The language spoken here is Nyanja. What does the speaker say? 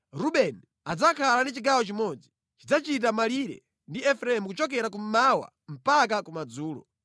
“Rubeni adzakhala ndi chigawo chimodzi. Chidzachita malire ndi Efereimu kuchokera kummawa mpaka kumadzulo.